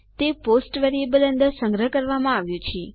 તે post variable અંદર સંગ્રહ કરવામાં આવ્યું છે